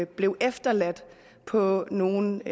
blev efterladt på nogle